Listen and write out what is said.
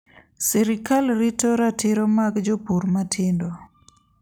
Sirkal rito ratiro mag jopur matindo.